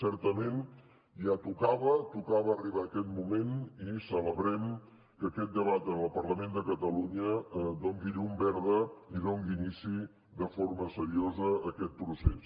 certament ja tocava tocava arribar a aquest moment i celebrem que aquest debat en el parlament de catalunya doni llum verda i doni inici de forma seriosa a aquest procés